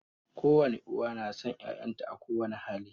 Kowane uwa na son 'ya'yanta a kowani hali